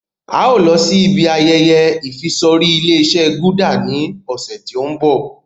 A ó lọ síí ibi ayẹyẹ ìfisorí Ilé-ìṣe "Gulder" ni ọ̀sẹ̀ tí òun bọ̀.